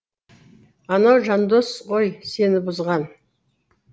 анау жандос ғой сені бұзған